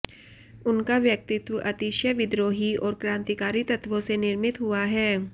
उनका व्यक्तित्व अतिशय विद्रोही और क्रांतिकारी तत्त्वों से निर्मित हुआ